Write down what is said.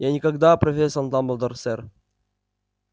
я никогда профессор дамблдор сэр